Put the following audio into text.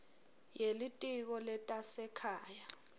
ye litiko letasekhaya